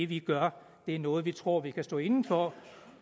vi gør er noget vi tror vi kan stå inde for